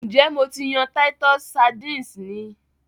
N jẹ Mo ti yan titus sardines ni?